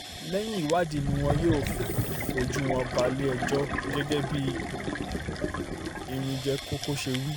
lẹ́yìn ìwádìí ni wọn yóò fojú wọn balẹ̀-ẹjọ́ gẹ́gẹ́ bí iringe-kọ́kọ́ ṣe wí